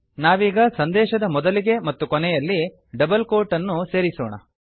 ನಾವೀಗ ಸಂದೇಶದ ಮೊದಲಿಗೆ ಮತ್ತು ಕೊನೆಯಲ್ಲಿ ಡಬಲ್ ಕೋಟ್ ಅನ್ನು ಸೇರಿಸೋಣ